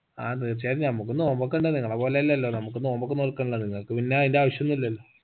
ആ തീർച്ചയായും നമ്മുക്കും നോമ്പൊക്കെ ഇണ്ട് നിങ്ങളെ പോലെ അല്ലലോ നമുക്ക് നോമ്പൊക്കെ നോൽക്കണല്ലോ നിങ്ങക്ക് പിന്നെ അതിന്റെ ആവശ്യോന്നില്ലല്ലോ